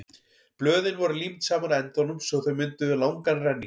blöðin voru límd saman á endunum svo að þau mynduðu langan renning